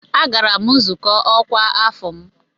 Agara m nzukọ ọkwa afọ m.